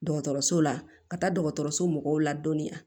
Dɔgɔtɔrɔso la ka taa dɔgɔtɔrɔso mɔgɔw la dɔniya